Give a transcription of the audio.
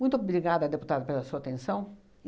Muito obrigada, deputado, pela sua atenção.